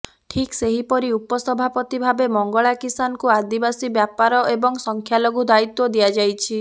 ଠିକ୍ ସେହିପରି ଉପସଭାପତି ଭାବେ ମଙ୍ଗଳା କିଶାନଙ୍କୁ ଆଦିବାସୀ ବ୍ୟାପାର ଏବଂ ସଂଖ୍ୟା ଲଘୁ ଦାୟିତ୍ବ ଦିଆଯାଇଛି